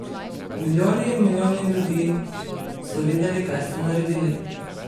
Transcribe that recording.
Milijoni in milijoni ljudi so videli, kaj ste naredili.